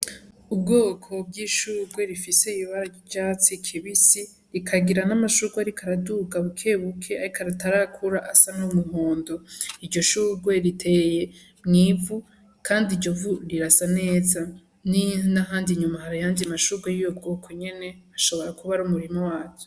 Ubwoko bw'ishugwe rifise ibara ry'icatsi kibisi, rikagira n'amashugwe ariko araduga bukebuke ariko atarakura asa n'umuhondo. Iryo shugwe riteye mw'ivu kandi iryo vu rirasa neza, n'ahandi inyuma hari ayandi mashugwe y'ubu bwoko nyene, ushobora kuba ari umurima wazo.